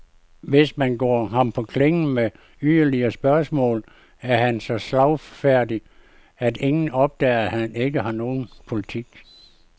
Hvis man går ham på klingen med yderligere spørgsmål, er han så slagfærdig, at ingen opdager, at han ikke har nogen politik.